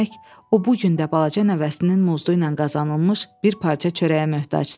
Demək o bu gün də balaca nəvəsinin muzdu ilə qazanılmış bir parça çörəyə möhtacdır.